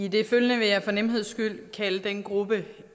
i det følgende vil jeg for nemheds skyld kalde den gruppe